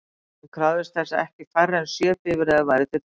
Hún krafðist þess að ekki færri en sjö bifreiðar væru til taks.